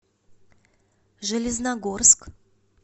железногорск